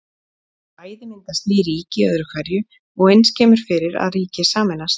Bæði myndast ný ríki öðru hverju og eins kemur fyrir að ríki sameinast.